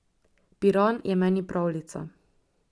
Piran je meni pravljica.